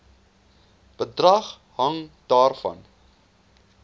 bedrag hang daarvan